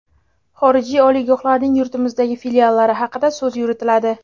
xorijiy oliygohlarning yurtimizdagi filiallari haqida so‘z yuritiladi.